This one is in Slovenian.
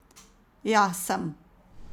Ja, sem.